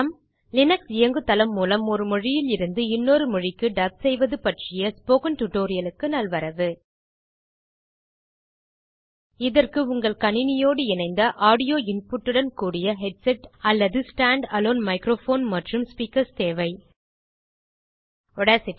Linux இயங்குதளம் மூலம் ஒரு மொழியிலிருந்து இன்னொரு மொழிக்கு டப் செய்வது பற்றிய ஸ்போக்கன் டியூட்டோரியல் க்கு நல்வரவு இதற்கு உங்கள் கணினியோடு இணைந்த ஆடியோ இன்புட் உடன் கூடிய ஹெட்செட் அல்லது stand அலோன் மைக்ரோபோன் மற்றும் ஸ்பீக்கர்ஸ் தேவை Audacity®